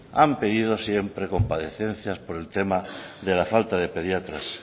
han pedido siempre comparecencias por el tema de la falta de pediatras